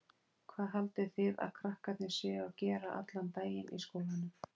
Hvað haldið þið að krakkarnir séu að gera allan daginn í skólanum?